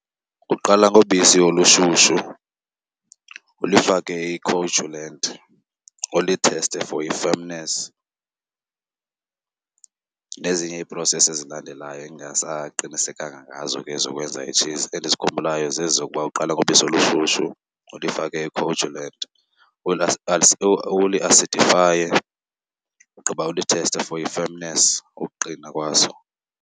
Uqala ngobisi olushushu ulifake i-coagulant ulitheste for i-firmness nezinye i-process ezilandelayo endingasaqinisekanga ngazo ke zokwenza itshizi. Endizikhumbulayo zezi zokuba uqala ngobisi olushushu ulifake i-coagulant, uliasidifaye ugqiba ulitheste for i-firmness, ukuqina kwaso.